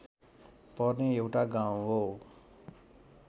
पर्ने एउटा गाउँ हो